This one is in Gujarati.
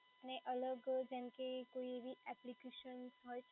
ને અલગ જેમ કે કોઈ બી